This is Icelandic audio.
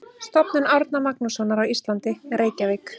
Stofnun Árna Magnússonar á Íslandi, Reykjavík.